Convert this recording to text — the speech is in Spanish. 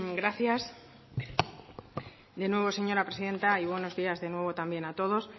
gracias de nuevo señora presidenta y buenos días de nuevo también a todos